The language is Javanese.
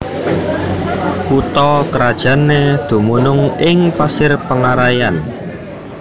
Kutha krajanné dumunung ing Pasir Pengaraian